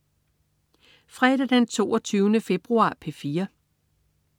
Fredag den 22. februar - P4: